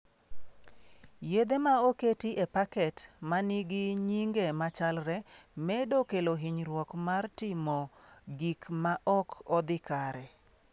Yedhe ma oketi e paket ma nigi nyinge machalre medo kelo hinyruok mar timo gik ma ok odhi kare.